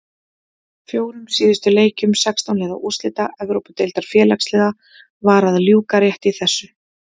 Fjórum síðustu leikjum sextán liða úrslita Evrópudeildar Félagsliða var að ljúka rétt í þessu.